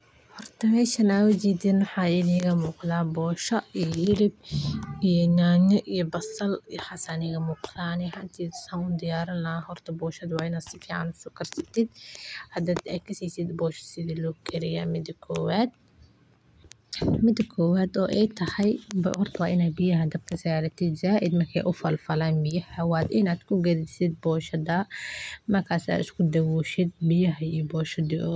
Markaad cunto soor, waxaad maqlaysaa qosol iyo wada hadal qurux badan oo ay wadaagaan qoosaska qoyska, waxaana jirta dareen qumman oo nolosha ku xidhan oo ay keento farxadda iyo wanaaga cuntada la isu diyaariyo si wadajir ah, sidaas darteed soorta maanta waa mid macaan oo qurux badan oo lagu raali yahay in la cuno maalintii oo dhan, waayo waa cunto ay Soomaalidu jeclaan yihiin oo ay ku kalsoon yihiin inay dadka u keento barwaaqo iyo cafis, waxayna leedahay dhadhan adag oo aan la ilaabin oo markaad caloosha ku gasho ay kuu sheegto inaad tahay qof Soomaali ah oo jecel dhaqanka iyo cuntada bulshada, sidaas awgeed, haddii aad rabto inaad maanta cunto macaan iyo wanaagsan cunto, soor waa go'aanta ugu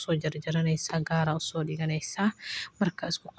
fiican ee aad gaari karto.